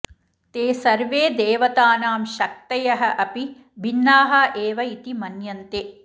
ते सर्वे देवतानां शक्तयः अपि भिन्नाः एव इति मन्यन्ते